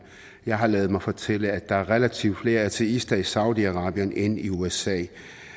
jeg har ladet mig fortælle at der er relativt flere ateister i saudi arabien end i usa